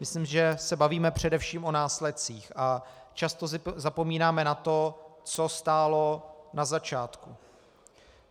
Myslím, že se bavíme především o následcích a často zapomínáme na to, co stálo na začátku.